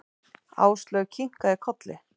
Áslaug kinkaði kolli.